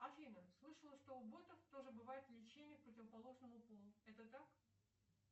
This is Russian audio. афина слышала что у ботов тоже бывает влечение к противоположному полу это так